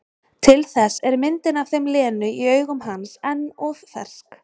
Til þess er myndin af þeim Lenu í augum hans enn of fersk.